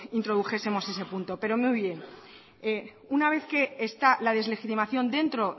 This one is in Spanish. introdujesemos ese punto pero muy bien una vez que está la deslegitimación dentro